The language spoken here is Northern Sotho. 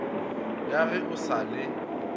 ya ge o sa le